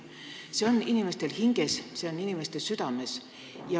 See on inimestel hinges, see on inimestel südames.